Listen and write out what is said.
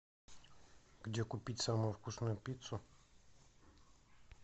где купить самую вкусную пиццу